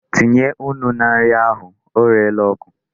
Tinye nnu na nri ahụ. O reela oku.